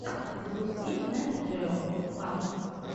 запусти нет джео марс